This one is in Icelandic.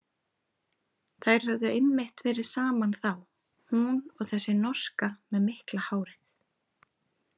Þær höfðu einmitt verið saman þá, hún og þessi norska með mikla hárið.